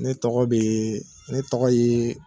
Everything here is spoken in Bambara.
Ne tɔgɔ bee ne tɔgɔ yee